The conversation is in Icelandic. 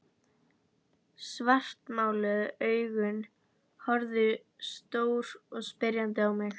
Svartmáluð augun horfðu stór og spyrjandi á mig.